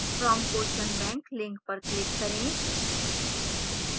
from question bank link पर click करें